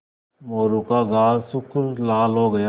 मोरू का गाल सुर्ख लाल हो गया